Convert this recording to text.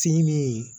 Finen